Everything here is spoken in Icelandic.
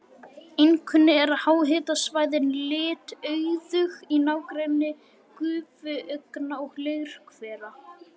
Einkum eru háhitasvæðin litauðug í nágrenni gufuaugna og leirhvera.